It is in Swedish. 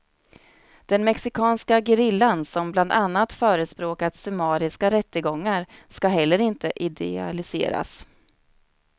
Den mexikanska gerillan, som bland annat förespråkat summariska rättegångar, ska heller inte idealiseras.